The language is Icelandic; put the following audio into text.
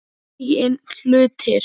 Eigin hlutir.